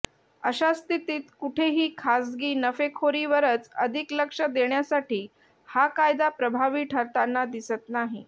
अशा स्थितीत कुठेही खासगी नफेखोरीवरच अधिक लक्ष देण्यासाठी हा कायदा प्रभावी ठरताना दिसत नाही